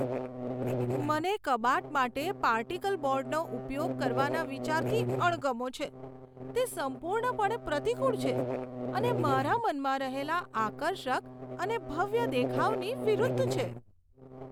મને કબાટ માટે પાર્ટિકલ બોર્ડનો ઉપયોગ કરવાના વિચારથી અણગમો છે. તે સંપૂર્ણપણે પ્રતિકૂળ છે અને મારા મનમાં રહેલા આકર્ષક અને ભવ્ય દેખાવની વિરુદ્ધ છે.